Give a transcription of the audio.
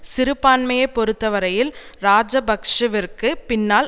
சிறுபான்மையைப் பொறுத்தவரையில் இராஜபக்ஷவிற்கு பின்னால்